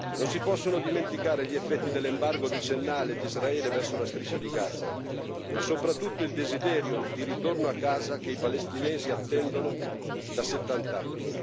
Non si possono dimenticare gli effetti dell'embargo decennale di Israele verso la Striscia di Gaza, ma soprattutto il desiderio di ritorno a casa che i palestinesi attendono da settant'anni.